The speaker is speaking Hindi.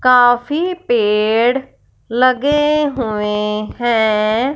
काफी पेड़ लगे हुए हैं।